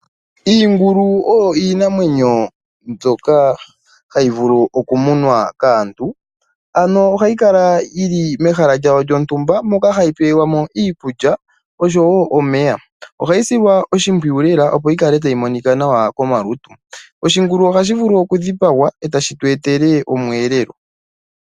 Iingulu oyo iinamwenyo mbyoka hayi vulu okumunwa kaantu, ano ohayi kala yi li mehala lyawo lyontumba, moka hayi pelwa mo iikulya osho wo omeya. Ohayi silwa oshimpwiyu lela, opo yi kale tayi monika nawa komalutu. Oshingulu ohashi vulu okudhipagwa, e tashi tu etele omweelelo.